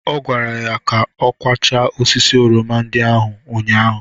Ọ kwara ya ka ọ kwachaa osisi oroma ndị a ụnyaahụ